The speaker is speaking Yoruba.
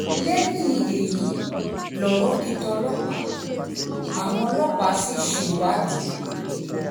lẹ́yìn èyí lọ̀rọ̀ di tọlọ́pàá àwọn ọlọ́pàá sì ṣèwádìí